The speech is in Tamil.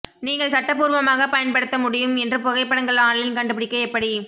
நீங்கள் சட்டப்பூர்வமாக பயன்படுத்த முடியும் என்று புகைப்படங்கள் ஆன்லைன் கண்டுபிடிக்க எப்படி